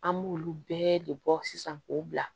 An b'olu bɛɛ de bɔ sisan k'o bila